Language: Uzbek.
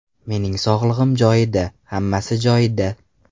Mening sog‘lig‘im joyida, hammasi joyida.